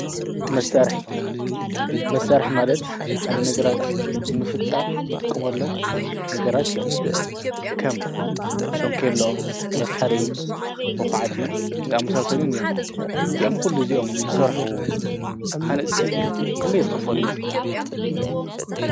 መሳርሒ፡- መሳርሒ ማለት ሓደ ነገራት ምፍጻም እንትቕምሎም ነገራት እዮም፡፡ ከም ሾንከሎ ፣መፍሓሪ፣ መዂዓቲ ኣምሳሰኒን እዮም፡፡ እዚኦም ዂሉ እዚኦም ስራሕ ሃንፅቲ ክንደይ ዝክሎም ይመስለኹም?